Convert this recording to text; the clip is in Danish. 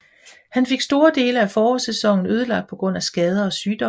Han fik store dele af forårsæsonen ødelagt på grund af skader og sygdom